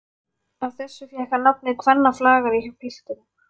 Af þessu fékk hann nafnið kvennaflagari hjá piltunum.